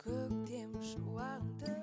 көктем шуағын